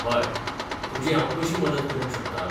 हय. तुजी हांव कशीं मदत करूंक शकता?